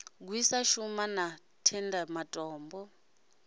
gwisa shumba na tendai matombo